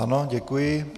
Ano, děkuji.